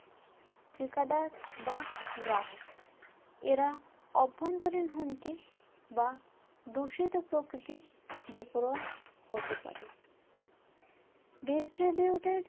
ঠিকাদার বা গ্রাহক এরা অভ্যন্তরীণ হুমকি বা দূষিত প্রকৃতির বেপরোয়া হতে পারে distributed